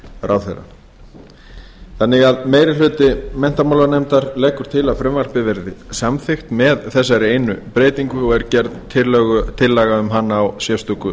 ráðherra meiri hlutinn leggur til að frumvarpið verði samþykkt með framangreindri breytingu sem gerð er tillaga um í sérstöku